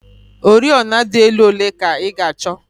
Oriọna dị elu ole ka ị ga-achọ?